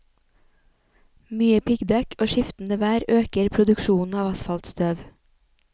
Mye piggdekk og skiftende vær øker produksjonen av asfaltstøv.